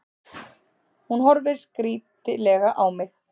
Hún horfir skrítilega á mig.